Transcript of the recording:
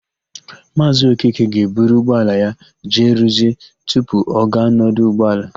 Maazị Okeke ga-eburu ụgbọala ya jee rụzie tupu ọ gaa n'ọdụ ụgbọala.